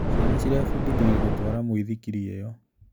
Ciana cirebundithirie gũtwara mũithikiri iyo.